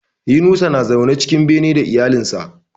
Yunusa na zaune cikin bene da iyalan sa